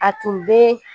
A tun bɛ